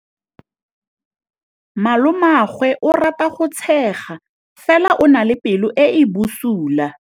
Malomagwe o rata go tshega fela o na le pelo e e bosula.